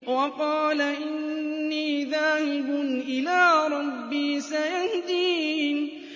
وَقَالَ إِنِّي ذَاهِبٌ إِلَىٰ رَبِّي سَيَهْدِينِ